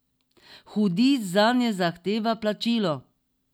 Hudič zanje zahteva plačilo.